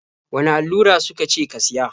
Wane allura su ka ce ka siya?